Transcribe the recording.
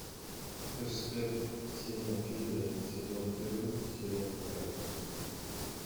хэштег сеня федя сезон первый серия вторая